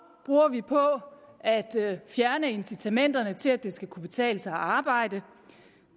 bruger vi på at fjerne incitamenterne til at det skal kunne betale sig at arbejde